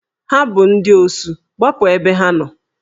Ha bụ ndị Osu, gbapụ ebe ha nọ!